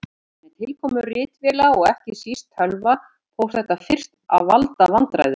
Með tilkomu ritvéla og ekki síst tölva fór þetta fyrst að valda vandræðum.